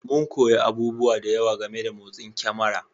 Mun koyi abubuwa da yawa game da motsin kyamara